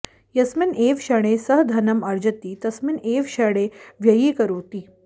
यस्मिन् एव क्षणे सः धनम् अर्जति तस्मिन् एव क्षणे व्ययीकरोति